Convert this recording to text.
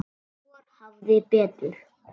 Og hvor hafði betur.